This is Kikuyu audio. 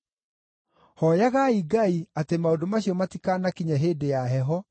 Hooyagai Ngai atĩ maũndũ macio matikanakinye hĩndĩ ya heho,